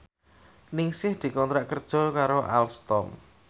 Ningsih dikontrak kerja karo Alstom